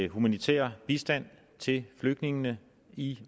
humanitær bistand til flygtningene i